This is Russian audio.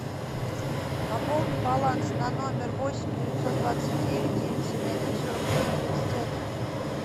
пополни баланс на номер восемь девятьсот двадцать девять девять семь один сорок три тридцать один